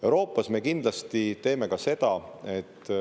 Euroopas me kindlasti teeme seda.